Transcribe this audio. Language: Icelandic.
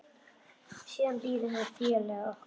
Siðan biðum við félaga okkar.